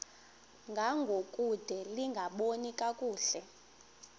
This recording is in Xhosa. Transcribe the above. ngangokude lingaboni kakuhle